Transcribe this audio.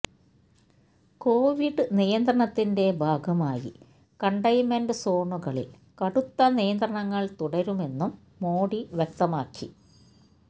Covid നിയന്ത്രണത്തിന്റെ ഭാഗമായി containment സോണുകളിൽ കടുത്ത നിയന്ത്രണങ്ങൾ തുടരുമെന്നും മോഡി വ്യക്തമാക്കി